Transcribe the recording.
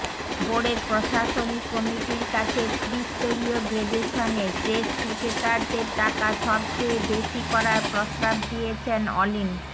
বোর্ডের প্রশাসনিক কমিটির কাছে ত্রিস্তরীয় গ্রেডেশনে টেস্ট ক্রিকেটারদের টাকা সবচেয়ে বেশি করার প্রস্তাব দিয়েছেন অলিন